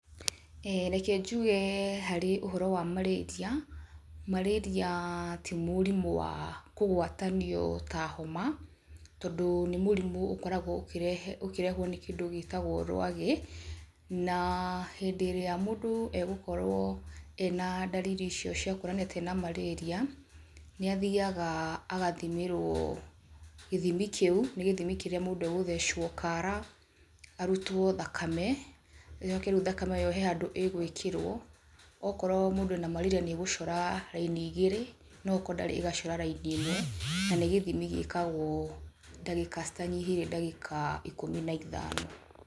Reke njuge harĩ ũhoro wa marĩria, marĩria ti mũrimũ wa kũgwatanio ta homa, tondu nĩ mũrimũ ũkoragwo ũkĩrehwo nĩ kĩndũ gĩtagwo rwagĩ na hĩndĩ ĩrĩa mũndũ egũkorwo ena ndariri icio cia kũonania ta ena marĩria, ni athiaga agathimĩrwo gĩthimi kĩu, nĩ gĩthimi kĩrĩa mũndũ agũthecwo kara arutwo thakame, ĩcoke rĩu thakame ĩyo harĩ handũ ĩgwĩkĩrwo, okorwo mũndũ arĩ na marĩria nĩ ĩgũcora raini igĩrĩ na okorwo ndarĩ ĩgacora raini ĩmwe na nĩ gĩthimi gĩkagwo ndagĩka citanyihĩire ndagika ikũmi na ithano.